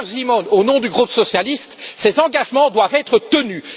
Peter Simon au nom du groupe socialiste, ces engagements doivent être tenus.